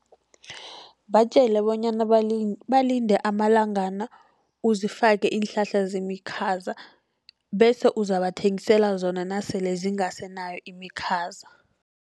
Batjele bonyana balinde amalangana uzifake iinhlahla zemikhaza. Bese uzabathengisela zona nasele zingasenayo imikhaza.